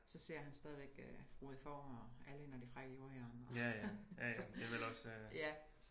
Så ser han stadig øh Frode Får og Alvin og de frække jordegern og så ja